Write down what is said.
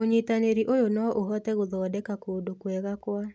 ũnyitanĩri ũyũ no ũhote gũthondeka kũndũ kwega kwa